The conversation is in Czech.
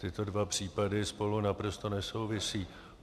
Tyto dva případy spolu naprosto nesouvisí.